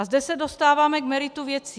A zde se dostáváme k meritu věci.